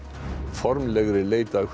formlegri leit að